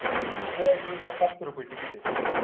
train ने सातशे रुपये ticket आहे.